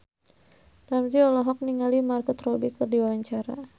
Ramzy olohok ningali Margot Robbie keur diwawancara